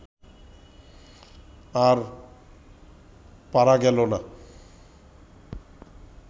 আর পারা গেল না